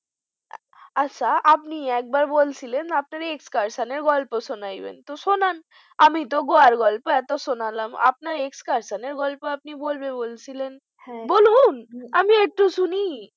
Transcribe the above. আচ্ছা আপনি একবার বলছিলেন আপনার excursion এর গল্প শোনাবেন তো শোনান আমি তো Goa র গল্প এতো শোনালাম আপনার excursion এর গল্প আপনি বলবে বলছিলেন হ্যাঁ বলুন! আমি একটু শুনি